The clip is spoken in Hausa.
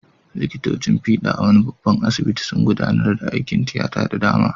Likitocin fiɗa a wani babban asibiti sun gudanar da aikin tiyata da dama.